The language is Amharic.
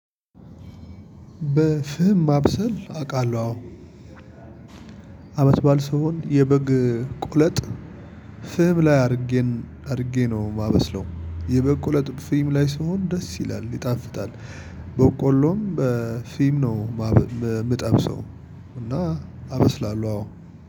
በፍም ማብሰል አውቃለሁ አዎ አመት ባል ሲሆን የበግ ቆለጥ ፍም ላይ አድርጌ አድርጌ ነው የማበስለው የበግ ቁለጥ ፍም ላይ ሲሆን ደስ ይላል። ይጣፍጣል። በቆሎም በፍም ነው የምጠብሰው እና አበስላለሁ አዎ